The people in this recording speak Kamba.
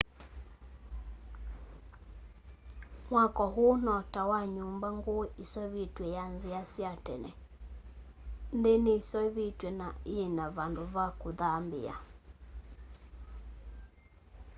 mwako ũu no ta wa nyũmba ngũu yiseovetwe ya nzia sya tene nthi ni iseovetwe na yina vandũ va kũthambia